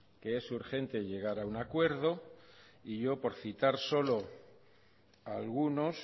que es urgente llegar a un acuerdo y yo por citar solo a algunos